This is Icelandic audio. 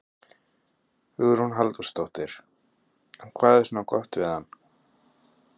Hugrún Halldórsdóttir: En hvað er svona gott við hann?